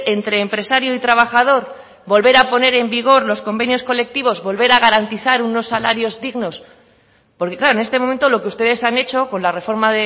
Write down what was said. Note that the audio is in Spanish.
entre empresario y trabajador volver aponer en vigor los convenios colectivos volver a garantizar unos salarios dignos porque claro en este momento lo que ustedes han hecho con la reforma